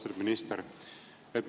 Austatud minister!